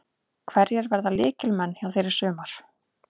Hverjir verða lykilmenn hjá þér í sumar?